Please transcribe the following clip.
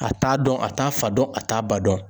A t'a dɔn a t'a fa dɔn a t'a ba dɔn.